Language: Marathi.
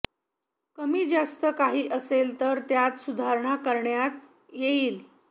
कमी जास्त काही असेल तर त्यात सुधारणा करण्यात येईल